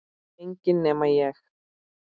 Enginn nema ég